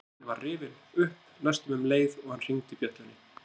Dyrasíminn var rifinn upp næstum um leið og hann hringdi bjöllunni.